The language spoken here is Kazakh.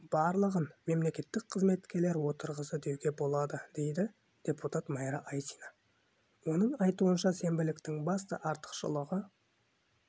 барлығын мемлекеттік қызметкерлер отырғызды деуге болады дейді депутат майра айсина оның айтуынша сенбіліктің басты артықшылығы